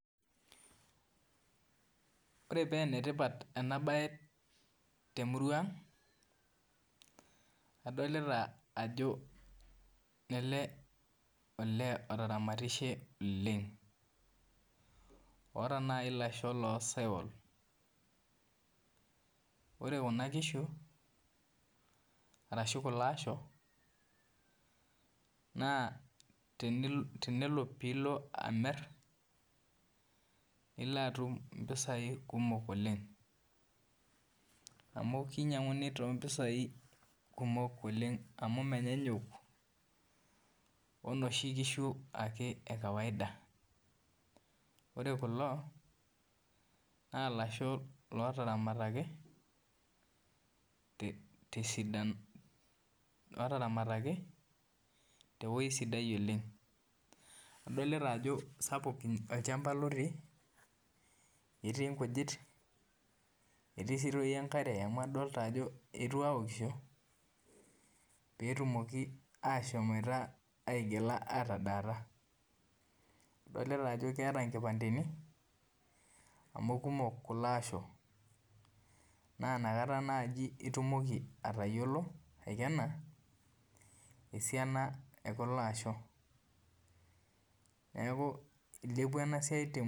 Ore penetipat enabae temurua aang na adolta ajo lele olee otaramatishe oleng oota nai lasho losaiwal ore kuna kishu ashu kulo asho na tenelo pilo amir nilo atum mpisai kumok oleng amu kinyanguni tompisai kumok oleng amu menyanyuk onoshi kishu ekawaida ore kulo na lasho otaramataki tewoi sidai oleng adolta ajo sapuk olchamba otii etii nkujit adolta ajo etii enkare amu ninche eetuo aok petumoki ashomoita atadaata adolta ajo keeta nkipandeni amu kumok kulo asho na nakata indim aikena esiana ekulo aasho neaku ilepua enasia temurua aang.